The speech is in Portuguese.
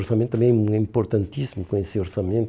Orçamento também é importantíssimo, conhecer orçamento.